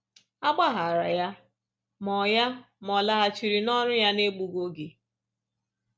A gbaghaara ya, ma ọ ya, ma ọ laghachiri n’ọrụ ya n’egbughị oge.